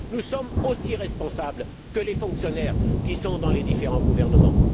Nous sommes aussi responsables que les fonctionnaires qui sont dans les différents gouvernements.